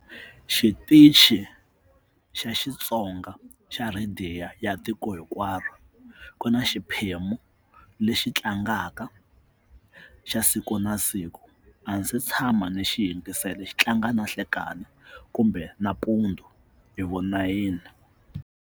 Xitichi xa Xitsonga xa rhadiyo ya tiko hinkwaro ku na xiphemu lexi tlangaka xa siku na siku a ndzi se tshama ni xi yingisela xi tlanga na nhlekani kumbe nampundzu hi vo nayini.